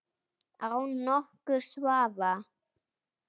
Án nokkurs vafa.